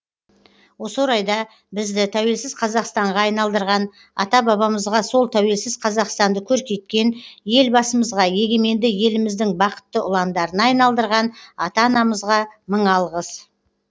осы орайда бізді тәуелсіз қазақстанға айналдырған ата бабамызға сол тәуелсіз қазақстанды көркейткен елбасымызға егеменді еліміздің бақытты ұландарына айналдырған ата анамызға мың алғыс